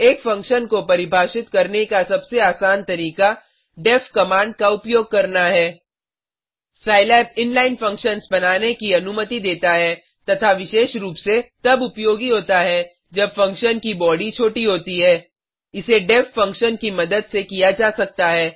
एक फंक्शन को परिभाषित करने का सबसे आसान तरीका deff कमांड का उपयोग करना है सिलाब in लाइन फंक्शन बनाने की अनुमति देता है तथा विशेष रूप से तब उपयोगी होता है जब फंक्शन की बॉडी छोटी होती है इसे deff फंक्शन की मदद से किया जा सकता है